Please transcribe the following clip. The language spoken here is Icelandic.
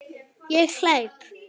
Ég hleyp.